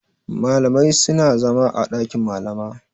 Malamai suna zama a ɗakin Malama.